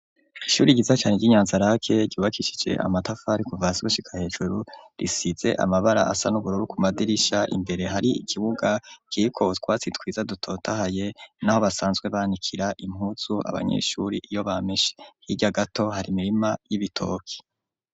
Ishure ryiza cane ry'inyanza rake gubakishije amatafari kuva hasi gushika hejuru risize amabara asa nubururu ku madirisha imbere hari ikibuga ciko twatsi twiza dutotahaye naho basanzwe banikira impuzu abanyeshure iyo bameshe, hirya gato hari imirima y'ibitoki.